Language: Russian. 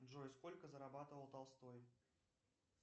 джой сколько зарабатывал толстой